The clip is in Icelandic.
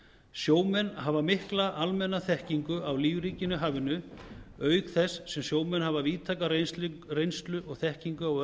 sjómenn hafa mikla almenna þekkingu á lífríkinu í hafinu auk þess sem sjómenn hafa víðtæka reynslu og þekkingu á